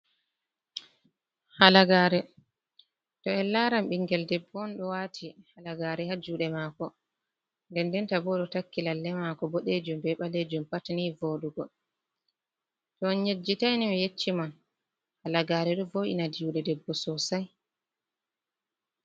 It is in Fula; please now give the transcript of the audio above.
Halagaare, to en laran bingel debbo on ɗo wati halagaare ha jude mako, nden ndenta bo ɗo takki lalle mako bodejum be balejum pat ni wooɗugo. To on yejjitai ni mi yecci mon halagaare ɗo wo'ina juuɗe debbo sosai.